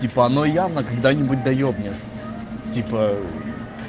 типа оно явно когда-нибудь да ебнет типа